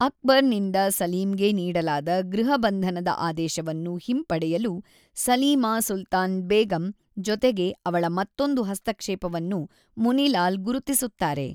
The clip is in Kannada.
ಅಕ್ಬರ್‌ನಿಂದ ಸಲೀಮ್‌ಗೆ ನೀಡಲಾದ ಗೃಹ ಬಂಧನದ ಆದೇಶವನ್ನು ಹಿಂಪಡೆಯಲು ಸಲೀಮಾ ಸುಲ್ತಾನ್ ಬೇಗಂ ಜೊತೆಗೆ ಅವಳ ಮತ್ತೊಂದು ಹಸ್ತಕ್ಷೇಪವನ್ನು ಮುನಿ ಲಾಲ್ ಗುರುತಿಸುತ್ತಾರೆ.